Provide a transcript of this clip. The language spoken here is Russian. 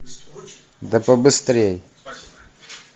да побыстрей